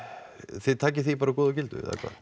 þið takið því bara góðu og gildu eða hvað